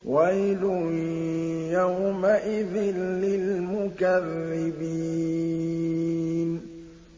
وَيْلٌ يَوْمَئِذٍ لِّلْمُكَذِّبِينَ